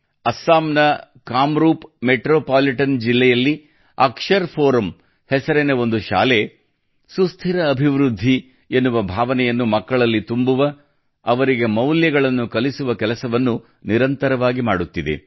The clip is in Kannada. ಅಸ್ಸಾಂ ನ ಕಾಮರೂಪ್ ಮೆಟ್ರೋಪಾಲಿಟನ್ ಜಿಲ್ಲೆಯಲ್ಲಿ ಅಕ್ಷರ್ ಫೋರಮ್ ಹೆಸರಿನ ಒಂದು ಶಾಲೆಯು ಸುಸ್ಥಿರ ಅಭಿವೃದ್ಧಿ ಎನ್ನುವ ಭಾವನೆಯನ್ನು ಮಕ್ಕಳಲ್ಲಿ ತುಂಬುವ ಅವರಿಗೆ ಮೌಲ್ಯಗಳನ್ನು ಕಲಿಸುವ ಕೆಲಸವನ್ನು ನಿರಂತರವಾಗಿ ಮಾಡುತ್ತಿದೆ